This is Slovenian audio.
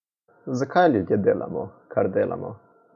Zakaj ljudje delamo, kar delamo?